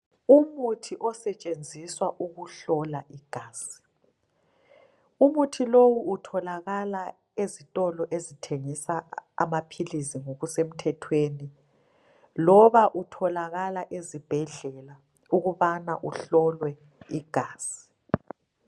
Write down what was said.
Umuthi osetshenziswa ukuhlola igazi ,umuthi lowu utholakala ezitolo ezithengisa amaphilizi ngokusemthethweni. Loba utholakala ezibhedlela ukubana uhlolwe igazi.